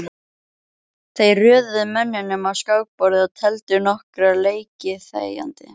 Þeir röðuðu mönnunum á skákborðið og tefldu nokkra leiki þegjandi.